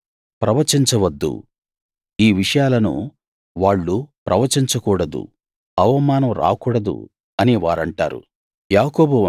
ప్రవచించ వద్దు ఈ విషయాలను వాళ్ళు ప్రవచించ కూడదు అవమానం రాకూడదు అని వారంటారు